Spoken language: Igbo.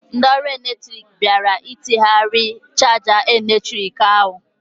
Ndị ọrụ eletrik bịara ịtinyeghari chaja eletrik ahụ.